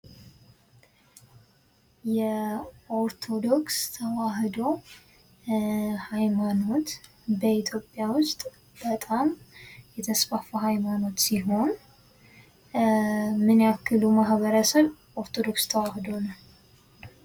የኦርቶዶክስ ተዋሕዶ ሃይማኖት በኢትዮጵያ ውስጥ በጣም የተስፋፋ ሃይማኖት ሲሆን፤ ምን ያክሉ ማህበረሰብ ኦርቶዶክስ ተዋህዶ ነው?